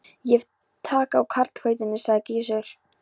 Ég hef tak á karlhelvítinu, sagði Gizur.